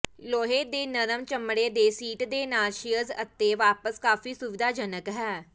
ਲੋਹੇ ਦੇ ਨਰਮ ਚਮੜੇ ਦੇ ਸੀਟ ਦੇ ਨਾਲ ਚੇਅਰਜ਼ ਅਤੇ ਵਾਪਸ ਕਾਫ਼ੀ ਸੁਵਿਧਾਜਨਕ ਹੈ